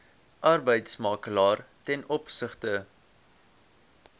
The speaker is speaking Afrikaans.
arbeidsmakelaar ten opsigte